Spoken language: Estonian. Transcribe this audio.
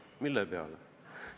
Mille peale?